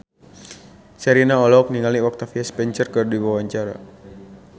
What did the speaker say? Sherina olohok ningali Octavia Spencer keur diwawancara